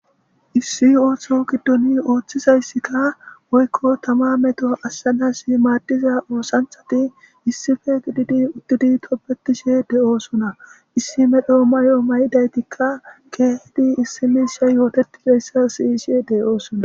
Issi ooththo giddon ooththizayssikka woykko tamma metto ashshanasi maadiza oosanthati issife giddidi uttidi tobetishe de'oosona issi medhdho may'o may'idaytikka keehidi issi miishshay ooththetizayssa siyishe de'oosona